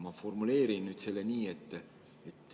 Ma formuleerin nüüd selle nii.